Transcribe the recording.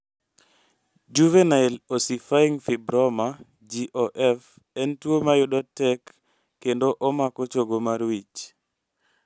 Juvenile ossifying fibroma (JOF) en tuo mayudo tek kendo omako chogo mar wich